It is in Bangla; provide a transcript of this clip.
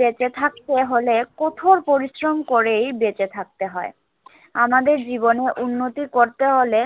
বেঁচে থাকতে হলে কঠোর পরিশ্রম করেই বেঁচে থাকতে হয়। আমাদের জীবনে উন্নতি করতে হলে,